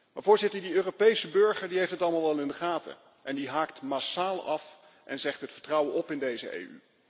Maar de Europese burger heeft het allemaal wel in de gaten en die haakt massaal af en zegt het vertrouwen op in deze EU.